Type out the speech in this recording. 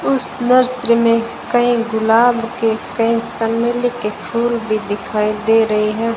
उस नर्सरी में कहीं गुलाब के कही चमेली के फूल भी दिखाई दे रही है।